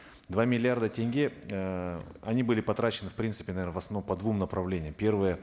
два миллиарда тенге эээ они были потрачены в принципе наверно в основном по двум направлениям первое